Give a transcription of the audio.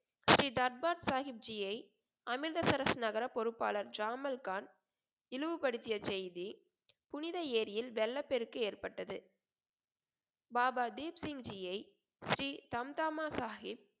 ஸ்ரீ தர்பாத் சாஹிப்ஜியை அமிர்தசரஸ் நகர பொறுப்பாளர் ஜாமல் கான் இழிவுபடுத்திய செய்தி புனித ஏரியில் வெள்ளப் பெருக்கு ஏற்பட்டது பாபா தீப் சிங்ஜியை ஸ்ரீ சந்தாம சாஹிப்